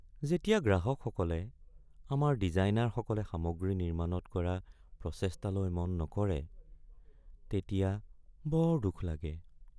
যেতিয়া গ্ৰাহকসকলে আমাৰ ডিজাইনাৰসকলে সামগ্ৰী নিৰ্মাণত কৰা প্ৰচেষ্টালৈ মন নকৰে তেতিয়া বৰ দুখ লাগে।